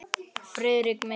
Friðrik minn!